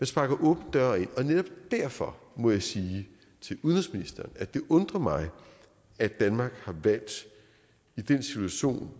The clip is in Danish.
sparker en åben dør ind og netop derfor må jeg sige til udenrigsministeren at det undrer mig at danmark i den situation